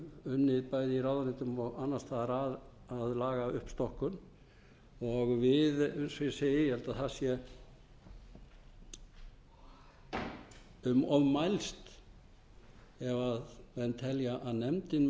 unnið bæði í ráðuneytum og annars staðar að lagauppstokkun við eins og ég segi ég held að það sé um of mælst ef menn telja að nefndin